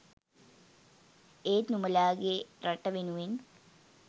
ඒත් නුඹලාගේ රට වෙනුවෙන්